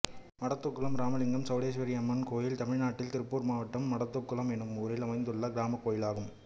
மடத்துக்குளம் இராமலிங்க சௌடேஸ்வரி அம்மன் கோயில் தமிழ்நாட்டில் திருப்பூர் மாவட்டம் மடத்துக்குளம் என்னும் ஊரில் அமைந்துள்ள கிராமக் கோயிலாகும்